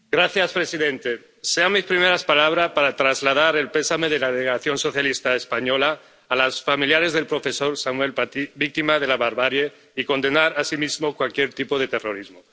Señor presidente, sean mis primeras palabras para trasladar el pésame de la Delegación Socialista Española a los familiares del profesor Samuel Paty, víctima de la barbarie, y para condenar asimismo cualquier tipo de terrorismo.